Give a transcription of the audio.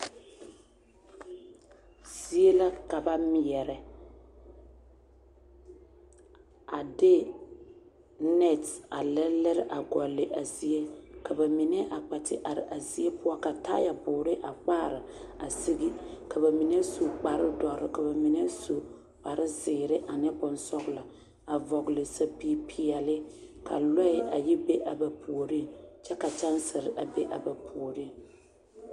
Zie la ka ba meɛrɛ a de nɛ a lerelere goli a zie ka bamine kpɛ te are a zie poɔŋ ka taayɛboɔre kpare siŋ ka bamine su kparre duore ka bamine su zeɛre ane bonsɔglɔ a vɔgle sapige peɛle ka lɔɛ a yɔ be a ba puoriŋ kyɛ ka kyensere be a ba puoriŋ.